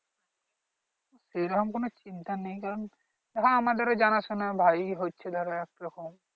সেরকম কোন চিন্তা নেই কারণ এখানে আমাদেরও জানা শুনা ভাই হচ্ছে ধরো একরকম